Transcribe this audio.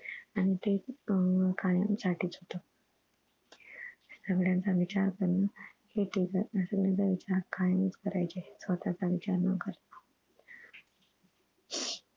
आणि ते केयांसाठीच होत सगळ्यांचं विचार करण हे एकएखादा सगळ्यांचं विचार कायम च करायचे स्वतःच विचार न करता